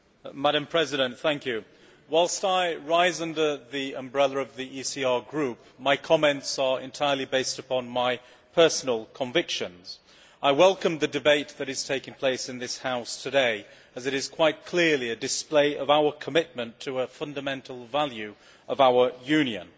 Madam President, whilst I rise under the umbrella of the ECR Group, my comments are entirely based upon my personal convictions. I welcome the debate that is taking place in this House today, as it is quite clearly a display of our commitment to a fundamental value of our Union.